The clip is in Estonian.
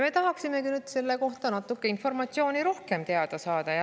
Me tahaksime selle kohta natuke rohkem informatsiooni teada saada.